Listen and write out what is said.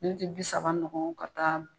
bi saba ɲɔgɔn ka taa.